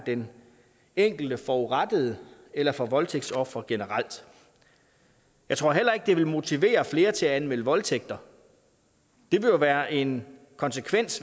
den enkelte forurettede eller for voldtægtsofre generelt jeg tror heller ikke det vil motivere flere til at anmelde voldtægter det vil jo være en konsekvens